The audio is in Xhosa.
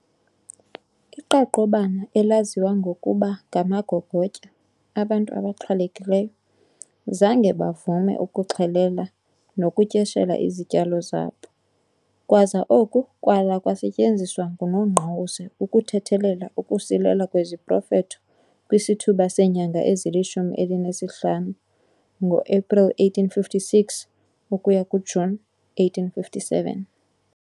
Iqaqobana, elaziwa ngokuba ngamagogotya abantu abaxhwalekileyo, zange bavume ukuxhelela nokutyeshela izityalo zabo, kwaza oku kwala kwasetyenziswa nguNongqawuse ukuthethelela ukusilela kweziprofetho kwisithuba seenyanga ezilishumi elinesihlanu April 1856 - June 1857.